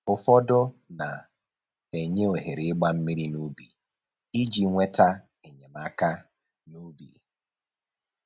Ụfọdọ na-enye ohere ịgba mmiri n'ubi iji nweta enyemaka n'ubi